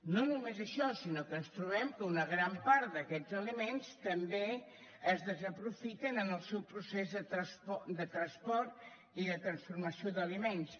no només això sinó que ens trobem que una gran part d’aquests aliments també es desaprofiten en el seu procés de transport i de transformació d’aliments